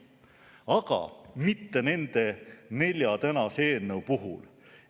Aga mitte nende nelja tänase eelnõu puhul.